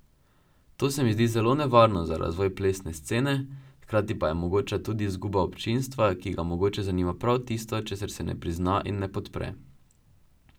To se mi zdi zelo nevarno za razvoj plesne scene, hkrati pa je mogoča tudi izguba občinstva, ki ga mogoče zanima prav tisto, česar se ne prizna in ne podpre.